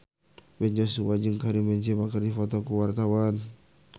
Ben Joshua jeung Karim Benzema keur dipoto ku wartawan